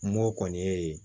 Mɔ kɔni ye